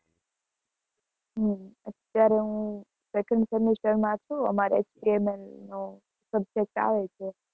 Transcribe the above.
અત્યારે હું second semester માં છુ. અમારે HTML નો subject આવે છે.